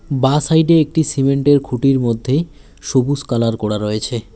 বাঁ সাইড এ একটি সিমেন্ট এর খুঁটির মধ্যে সবুস কালার করা রয়েছে।